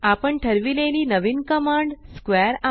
आपण ठरविलेली नवीन कमांड स्क्वेअर